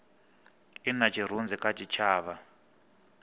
i na tshirunzi kha tshitshavha